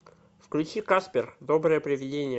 включи каспер доброе привидение